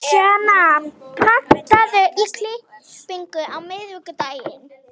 Sjana, pantaðu tíma í klippingu á miðvikudaginn.